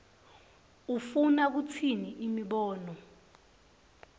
ufuna kutsini imibono